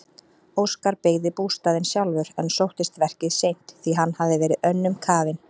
Óskar byggði bústaðinn sjálfur en sóttist verkið seint því hann hafði verið önnum kafinn.